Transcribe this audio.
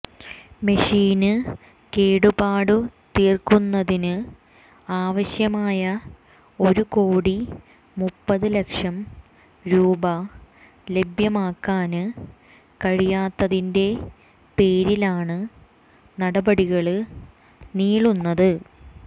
മെഷീന് കേടുപാടു തീര്ക്കുന്നതിന് ആവശ്യമായ ഒരുകോടി മുപ്പത് ലക്ഷം രൂപ ലഭ്യമാക്കാന് കഴിയാത്തതിന്റെ പേരിലാണ് നടപടികള് നീളുന്നത്